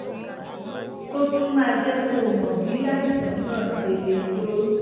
ó tún máa jẹ́ kó o mọ bí àìsàn náà ṣe le tó